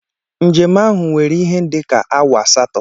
Njem ahụ were ihe dika awa asato